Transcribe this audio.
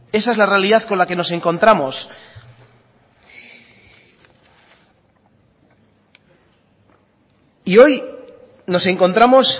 esa es la realidad con la que nos encontramos y hoy nos encontramos